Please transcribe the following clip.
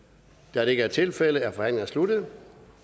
da det ikke er tilfældet er forhandlingen sluttet